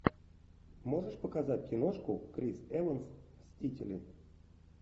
можешь показать киношку крис эванс мстители